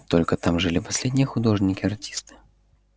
только там жили последние художники артисты